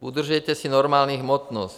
Udržujte si normální hmotnost.